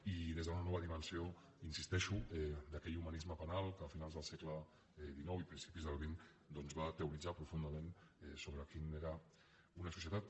i des d’una nova dimensió hi insisteixo d’aquell humanisme penal que a finals del segle xix i principis del xx va teoritzar profundament sobre quina era una societat